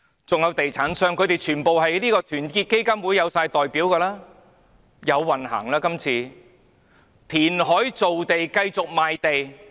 還有地產商，他們全部在團結香港基金內有代表，這次有運行了，填海造地，繼續賣地。